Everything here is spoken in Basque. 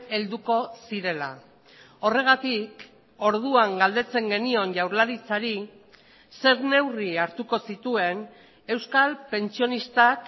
helduko zirela horregatik orduan galdetzen genion jaurlaritzari zer neurri hartuko zituen euskal pentsionistak